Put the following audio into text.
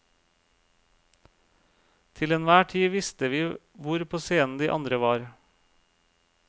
Til enhver tid visste vi hvor på scenen de andre var.